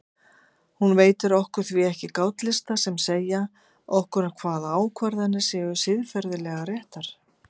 Hún veitir okkur því ekki gátlista sem segja okkur hvaða ákvarðanir séu siðferðilega réttar.